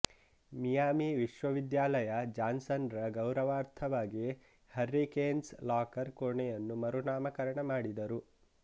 Miami ವಿಶ್ವವಿದ್ಯಾಲಯ Johnson ರ ಗೌರವಾರ್ಥವಾಗಿ ಹರ್ರಿಕೇನ್ಸ್ ಲಾಕರ್ ಕೋಣೆಯನ್ನು ಮರುನಾಮಕರಣ ಮಾಡಿದರು